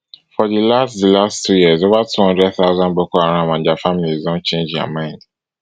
for di last di last two years over two hundred thousand boko haram and dia families don change dia mind